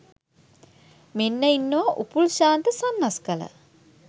මෙන්න ඉන්නවා උපුල් ශාන්ත සන්නස්ගල